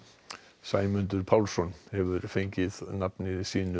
Sæmundur Pálsson hefur fengið nafni sínu